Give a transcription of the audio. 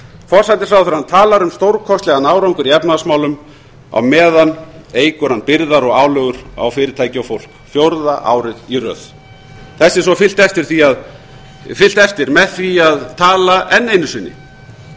forsætisráðherrann talar um stórkostlegan árangur í efnahagsmálum á meðan eykur hann byrðar og álögur á fyrirtæki og fólk fjórða árið í röð þessu er svo fylgt eftir með því að tala enn einu sinni